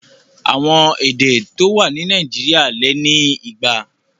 Àwọn èdè tó wà ní Nàìjíríà lé ni igba.